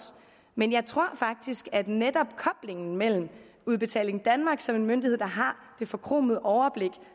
men jeg tror faktisk at netop koblingen mellem udbetaling danmark som en myndighed der har det forkromede overblik